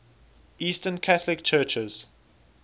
eastern catholic churches